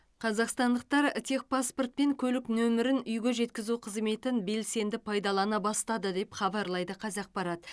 қазақстандықтар техпаспорт пен көлік нөмірін үйге жеткізу қызметін белсенді пайдалана бастады деп хабарлайды қазақпарат